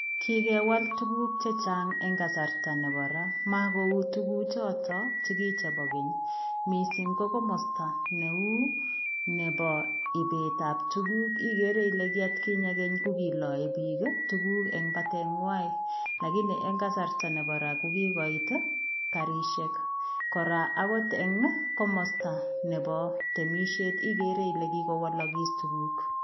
Kikewal tuguuk chechaang en kasarta nebo ra mako uu tuguuk chotoon chukichei bo keeny missing ko komostaa ne uu nebo ibeet ab tuguuk igere Ile kii at kinyei kokilae biik tuguuk en battery nywaany, lakini en kasarta nebo ra ko kiloit ii garisheek kora akoot eng komostaa nebo temisiet igere Ile kigowalakis tuguuk.